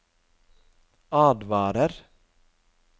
advarer